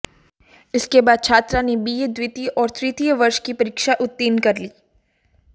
इसके बाद छात्रा ने बीए द्वितीय और तृतीय वर्ष की परीक्षा उत्तीर्ण कर ली